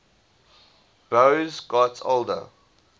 boas got older